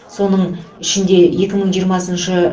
соның ішінде екі мың жиырмасыншы